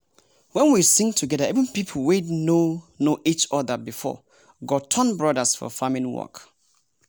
wen we sing together even people wey no know each other before go turn brothers for farming work.